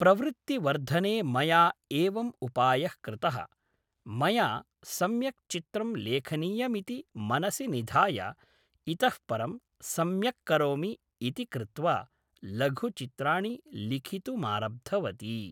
प्रवृत्तिवर्धने मया एवम् उपायः कृतः मया सम्यक् चित्रं लेखनीयमिति मनसि निधाय इतः परं सम्यक्करोमि इति कृत्वा लघुचित्राणि लिखितुमारब्धवती